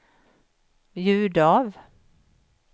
ljud av